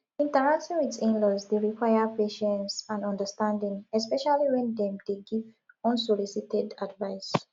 interacting with inlaws dey require patience and understanding especially when dem dey give unsolicited advice